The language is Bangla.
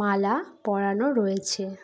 মালা পরানো রয়েছে।